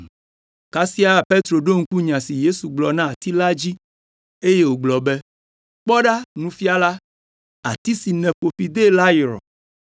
Kasia Petro ɖo ŋku nya si Yesu gblɔ na ati la dzi, eye wògblɔ be, “Kpɔ ɖa, Nufiala! Ati si nèƒo fi de la yrɔ!”